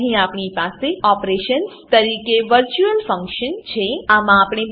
અહીં આપણી પાસે ઓપરેશન્સ ઓપેરેશન્સ તરીકે વર્ચ્યુઅલ ફંકશન વર્ચ્યુઅલ ફંક્શન છે